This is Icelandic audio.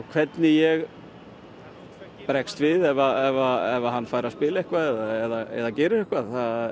hvernig ég bregst við ef hann fær að spila eitthvað eða gerir eitthvað